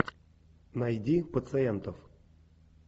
найди пациентов